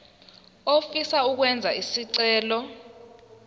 ofisa ukwenza isicelo